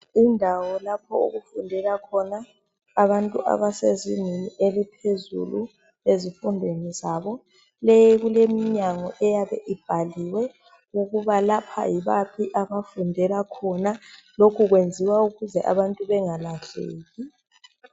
Indawo lapho okufundela khona abantu abasezingeni eliphezulu ezifundweni zabo. Kuleminyango eyabe ibhaliwe ukuba lapha yibaphi abafundela khona. Lokhu kwenziwa ukuze abantu bengalahleki.